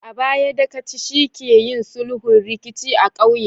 A baya, Dagaci shi ke yin sulhun rikici a ƙauye